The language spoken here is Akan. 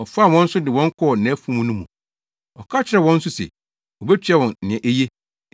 Ɔfaa wɔn nso de wɔn kɔɔ nʼafuw no mu. Ɔka kyerɛɛ wɔn nso se, obetua wɔn nea eye.